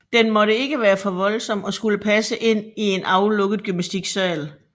Den måtte ikke være for voldsom og skulle passe ind i en aflukket gymnastiksal